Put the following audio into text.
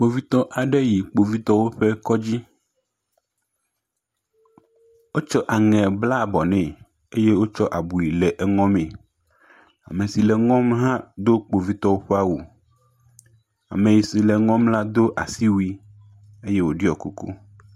Kpovitɔ aɖe yi Kpovitɔwo ƒe kɔdzi. Wotso aŋɛ bla bɔ nɛ eye wotsɔ abui le eŋɔme. Ame si le eŋɔm hã do Kpovitɔwo ƒa wu. Ame si le eŋɔm la do asiwui eye wòɖiɔ kuku.